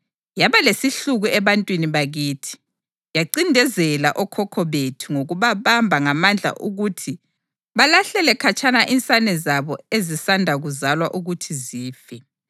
Yaba lesihluku ebantwini bakithi, yancindezela okhokho bethu ngokubabamba ngamandla ukuthi balahlele khatshana insane zabo ezisanda kuzalwa ukuthi zife.